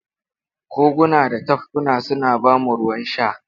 Koguna da tafkuna suna ba mu ruwan sha.